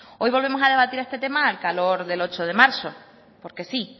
hoy volvemos a debatir este tema al calor del ocho de marzo porque sí